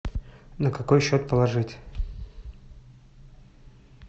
на какой счет положить